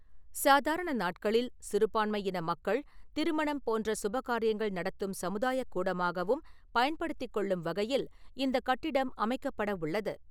சாதாரண நாட்களில் சிறுபான்மையின மக்கள் திருமணம் போன்ற சுபகாரியங்கள் நடத்தும் சமுதாயக் கூடமாகவும் பயன்படுத்திக் கொள்ளும் வகையில் இந்த கட்டிடம் அமைக்கப்படவுள்ளது .